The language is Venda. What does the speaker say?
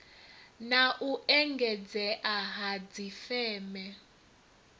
na u engedzea ha dzifeme